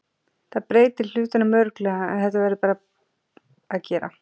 Það breytir hlutunum örugglega en þetta verður bara að gera.